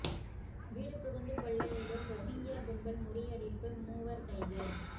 வீடு புகுந்து கொள்ளையிடும் ரொஹிங்யா கும்பல் முறியடிப்பு மூவர் கைது